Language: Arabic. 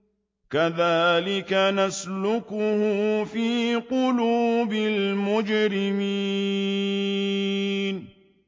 كَذَٰلِكَ نَسْلُكُهُ فِي قُلُوبِ الْمُجْرِمِينَ